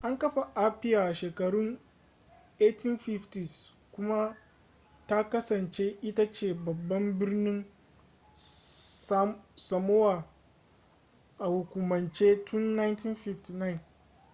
an kafa apia a shekarun 1850s kuma ta kasance ita ce babban birnin samoa a hukumance tun 1959